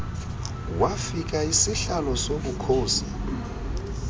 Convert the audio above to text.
wafika isihlalo sobukhosi